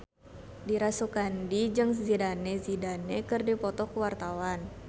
Dira Sugandi jeung Zidane Zidane keur dipoto ku wartawan